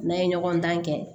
N'an ye ɲɔgɔndan kɛ